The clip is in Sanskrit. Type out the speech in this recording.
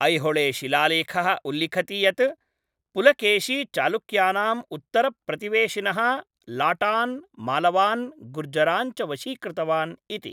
ऐहोले शिलालेखः उल्लिखति यत् पुलकेशी चालुक्यानाम् उत्तरप्रतिवेशिनः लाटान्, मालवान्, गुर्जरान् च वशीकृतवान् इति।